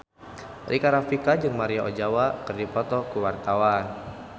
Rika Rafika jeung Maria Ozawa keur dipoto ku wartawan